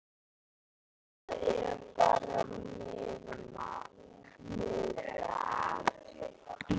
Það er bara meðal.